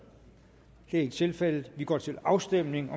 det er ikke tilfældet vi går til afstemning